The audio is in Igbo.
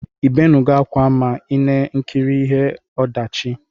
Ibenugo akwa ma ina ekiri ihe ọdachi?